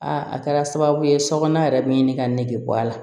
a kɛra sababu ye sokɔnɔ yɛrɛ bɛ n ɲini ka nege bɔ a la